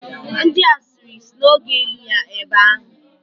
Ndi asịrị si na ọ ga-eli ya ebe ahụ.